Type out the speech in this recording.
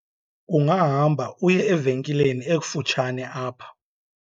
ungahamba uye evenkileni ekufutshane apha